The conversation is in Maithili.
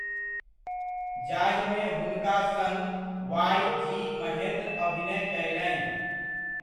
जाहिमे हुनका सङ्ग वाइ. जी. महेन्द्र अभिनय कयलनि।